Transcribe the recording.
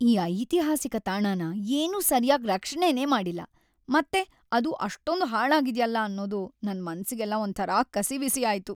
ಆ ಐತಿಹಾಸಿಕ ತಾಣನ ಏನೂ ಸರ್ಯಾಗ್ ರಕ್ಷಣೆನೇ ಮಾಡಿಲ್ಲ ಮತ್ತೆ ಅದು ಅಷ್ಟೊಂದ್ ಹಾಳಾಗಿದ್ಯಲ ಅನ್ನೋದು ನನ್‌ ಮನ್ಸಿಗೆಲ್ಲ ಒಂಥರ ಕಸಿವಿಸಿ ಆಯ್ತು.